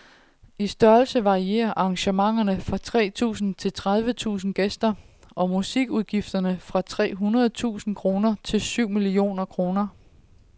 I størrelse varierer arrangementerne fra tre tusinde til tredive tusinde gæster, og musikudgifterne fra tre hundrede tusinde kroner til syv millioner kroner.